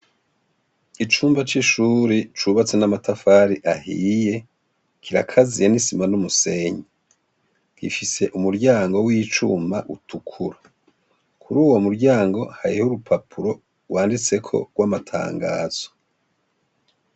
Icumba c'ishure cubatse n'amatafari ahiye kirakaziye n'isima n'umusenyi, gifise umuryango w'icuma utukura, kuri uwo muryango hariho urupapuro rwanditseko rw'amatangazo.